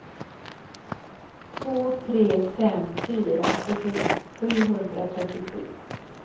två tre fem fyra åttiosju sjuhundratrettiosju